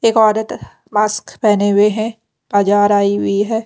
एक औरत मास्क पहने हुए है बाजार आई हुई है।